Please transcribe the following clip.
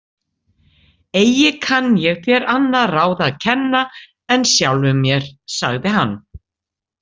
Eigi kann ég þér annað ráð að kenna en sjálfum mér, sagði hann.